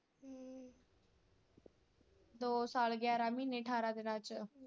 ਦੋ ਸਾਲ ਗਿਆਰਾਂ ਮਹੀਨੇ ਅਠਾਰਾਂ ਦਿਨਾਂ ਚ।